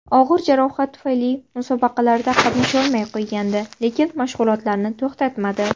Og‘ir jarohat tufayli musobaqalarda qatnashmay qo‘ygandi, lekin mashg‘ulotlarni to‘xtatmadi.